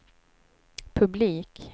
publik